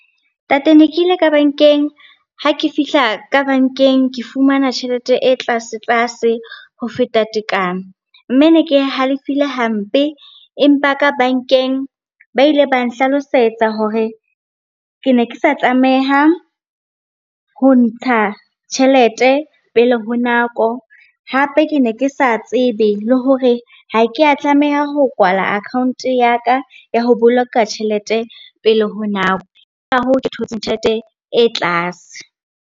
Ntate ne ke ile ka bankeng. Ha ke fihla ka bankeng, ke fumana tjhelete e tlase-tlase ho feta tekano. Mme ne ke halefile hampe, empa ka bankeng ba ile ba nhlalosetsa hore ke ne ke sa tlameha ho ntsha tjhelete pele ho nako. Hape ke ne ke sa tsebe le hore ha ke a tlameha ho kwala account-o ya ka ya ho boloka tjhelete pele ho nako. Ke ka hoo, ke thotseng tjhelete e tlase.